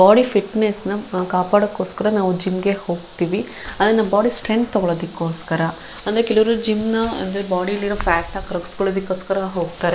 body fitness ನ ನಾವ್ ಕಾಪಾಡೋದಕ್ಕೋಸ್ಕರ ನಾವು ಜಿಮ್ ಗೆ ಹೋಗ್ತಿವಿ ಅಂದ್ರೆ ನಾವ್ ಬಾಡಿ ಸ್ಟ್ರೆಂಗ್ತ್ ತಗೋಳದಕ್ಕೋಸ್ಕರ ಅಂದ್ರೆ ಕೆಲವರು ಜಿಮ್ನ ಅಂದ್ರೆ ಬಾಡಿ ಲಿ ಇರೋ ಫ್ಯಾಟ್ ನ ಕರಗಿಸ್ಕೊಳ್ಳೋದಕ್ಕೋಸಕರ ಹೋಗ್ತಾರೆ --